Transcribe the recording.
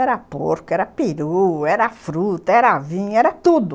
Era porco, era peru, era fruta, era vinho, era tudo.